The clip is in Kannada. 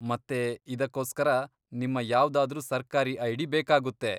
ಮತ್ತೆ ಇದ್ಕೋಸ್ಕರ ನಿಮ್ಮ ಯಾವ್ದಾದ್ರೂ ಸರ್ಕಾರಿ ಐ.ಡಿ. ಬೇಕಾಗುತ್ತೆ.